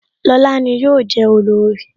Lóla ni yọ je olorì